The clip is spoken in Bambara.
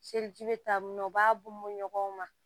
Seliji bɛ taa mun b'a bɔ ɲɔgɔn ma